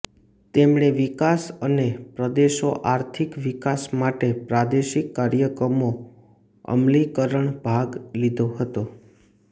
તેમણે વિકાસ અને પ્રદેશો આર્થિક વિકાસ માટે પ્રાદેશિક કાર્યક્રમો અમલીકરણ ભાગ લીધો હતો